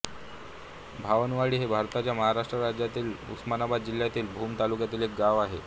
भवानवाडी हे भारताच्या महाराष्ट्र राज्यातील उस्मानाबाद जिल्ह्यातील भूम तालुक्यातील एक गाव आहे